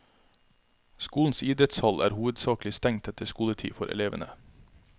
Skolens idrettshall er hovedsakelig stengt etter skoletid for elevene.